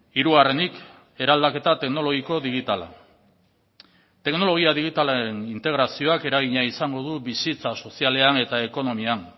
hirugarrenik eraldaketa teknologiko digitala teknologia digitalaren integrazioak eragina izango du bizitza sozialean eta ekonomian